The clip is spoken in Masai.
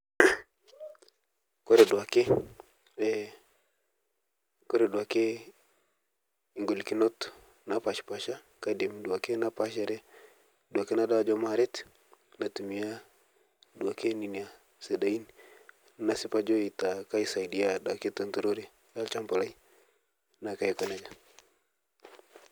Ore duoake ee kore duoake golikinot napashipasha kaidim duake napaashare duake nadol ajo maaret aitumia tokitin ninya sidain nesipa ajo ninya aisaidia itut itokitin olchamba lai neaku taa aiko nejia.